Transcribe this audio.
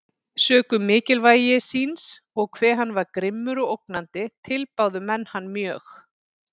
Sökum mikilvægi síns, og hve hann var grimmur og ógnandi, tilbáðu menn hann mjög.